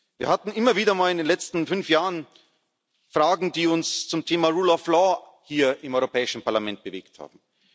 Rat. Wir hatten immer wieder mal in den letzten fünf Jahren Fragen, die uns zum Thema rule of law hier im Europäischen Parlament bewegt haben.